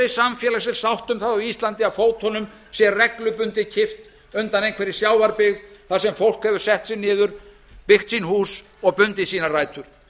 samfélagsleg sátt um það á íslandi að fótunum sé reglubundið kippt undan einhverri sjávarbyggð þar sem fólk hefur sett sig niður byggt sín hús og bundið sínar rætur